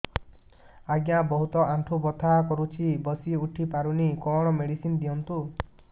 ଆଜ୍ଞା ବହୁତ ଆଣ୍ଠୁ ବଥା କରୁଛି ବସି ଉଠି ପାରୁନି କଣ ମେଡ଼ିସିନ ଦିଅନ୍ତୁ